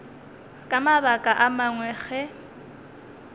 ka mabaka a mangwe ge